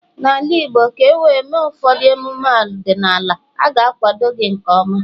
n'ala Igbo, ka e wee mee ụfọdụ emume ọdịnala, a ga-akwado gị nke ọma